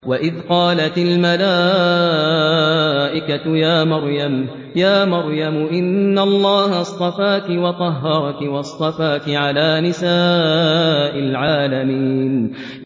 وَإِذْ قَالَتِ الْمَلَائِكَةُ يَا مَرْيَمُ إِنَّ اللَّهَ اصْطَفَاكِ وَطَهَّرَكِ وَاصْطَفَاكِ عَلَىٰ نِسَاءِ الْعَالَمِينَ